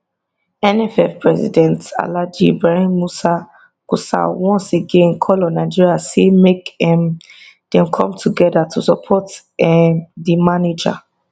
nff president alhaji ibrahim musa gusau once again call on nigeria say make um dem come togeda to support um di manager